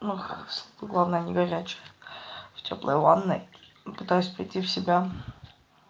главное не горячая в тёплой ванной пытаюсь прийти в себя